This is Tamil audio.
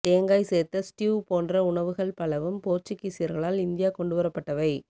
தேங்காய் சேர்த்த ஸ்ட்யூ போன்ற உணவுகள் பலவும் போர்ச்சுகீசியர்களால் இந்தியா கொண்டுவரப்பட்டவை